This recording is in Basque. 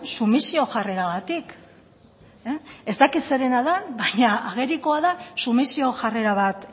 sumisio jarreragatik ez dakit zerena den baina agerikoa da sumisio jarrera bat